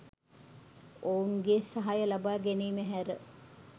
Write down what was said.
ඔවුන්ගේ සහාය ලබාගැනීම හැර